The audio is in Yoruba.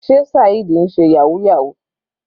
Sé Saheed ń ṣe yahoo yahoo.